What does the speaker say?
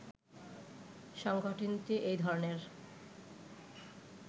সংগঠনটি এ ধরণের